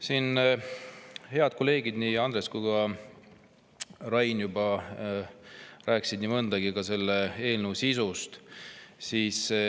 Siin head kolleegid Andres ja Rain juba rääkisid nii mõndagi selle eelnõu sisust.